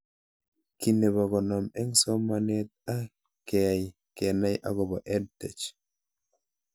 Kiy nepo konom eng' somanet ak keyai kenai akopo EdTech